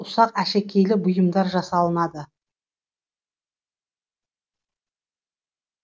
ұсақ әшекейлі бұйымдар жасалынады